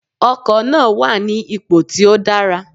Ọkò náà wà ní ipò tí ó dára